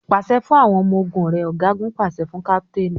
Pàṣẹ fún àwọn ọmọ ogún rẹ! Ọ̀gágun pàṣẹ fún káptéénì.